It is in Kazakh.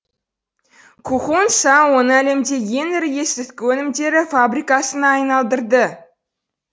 кхун са оны әлемдегі ең ірі есірткі өнімдері фабрикасына айналдырды